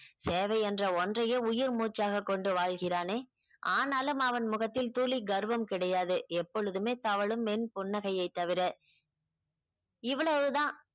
சேவை என்ற ஒன்றையே உயிர் மூச்சாக கொண்டு வாழ்கிறானே ஆனாலும் அவன் முகத்தில் துளி கர்வம் கிடையாது எப்பொழுதுமே தவழும் மென்புன்னகையைத் தவிர இவ்வளவுதான்